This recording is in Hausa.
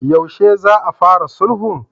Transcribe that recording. Yaushe za a fara sulhun?